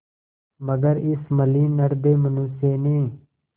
मगर इस मलिन हृदय मनुष्य ने